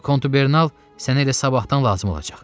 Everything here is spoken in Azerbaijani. Kontubernal sənə elə sabahdan lazım olacaq.